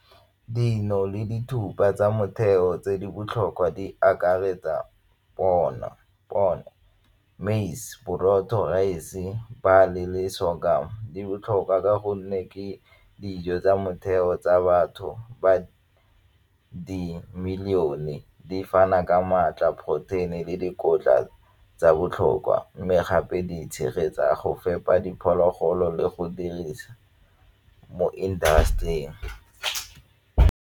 Dino le dithupa tsa motheo tse di botlhokwa di akaretsa bona, bona maize, borotho, rice-e, le sorghum. Di botlhokwa ka gonne ke dijo tsa motheo tsa batho ba di-million-e di fana ka maatla poroteini le dikotla tsa botlhokwa mme gape di tshegetsa go fepa diphologolo le go dirisa mo industry-eng